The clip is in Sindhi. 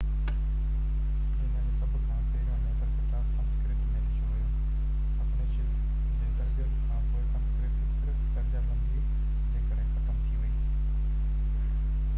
دنيا جو سڀ کان پهريون ڄاتل ڪتاب سنسڪرت ۾ لکيو ويو اپنيشد جي ترتيب کانپوءِ سنسڪرت صرف درجا بندي جي ڪري ختم ٿي وئي